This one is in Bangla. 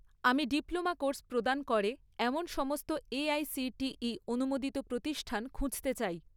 আমি ডিপ্লোমা কোর্স প্রদান করে এমন সমস্ত এআইসিটিই অনুমোদিত প্রতিষ্ঠান খুঁজতে চাই